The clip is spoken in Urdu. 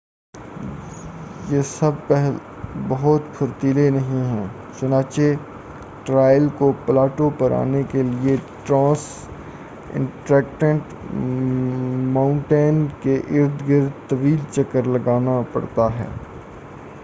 یہ سب بہت پھرتیلے نہیں ہیں، چنانچہ ٹرائیل کو پلاٹو پر آنے کے لئے ٹرانس انٹرکٹٹ ما‏ؤنٹین کے ارد گرد طویل چکر لگانا پڑتا ہے۔